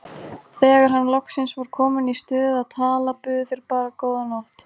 Þegar hann loksins var kominn í stuð að tala buðu þeir bara góða nótt!